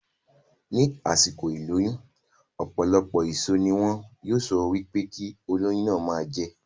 Ní àsìkò ìlóyún, ọ̀pọ̀lọpọ̀ èso ní wọn yóò sọ wípé kí olóyún náà ma jẹ